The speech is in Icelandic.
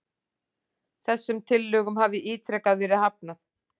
Þessum tillögum hafi ítrekað verið hafnað